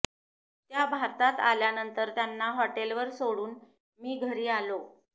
त्या भारतात आल्यानंतर त्यांना हॉटेलवर सोडून मी घरी आलो